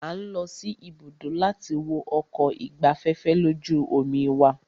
A ń lọ sí ibùdó láti wo ọkọ̀ ìgbafẹ́fẹ́ lójú omi wa.